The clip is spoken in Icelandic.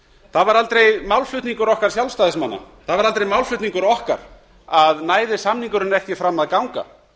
það var aldrei málflutningur okkar sjálfstæðismanna að næði samningurinn ekki fram að ganga